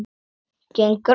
Gengur að mér.